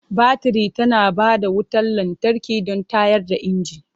Baturi tana ba da wutar lantarki don tayar da inji.